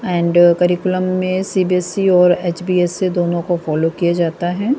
And curriculum मे C B S C और H B S C दोनो को फॉलो किया जाता है।